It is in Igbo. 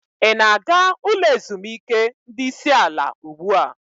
Ị na-aga ulo ezimuike ndi isi ala ugbu a?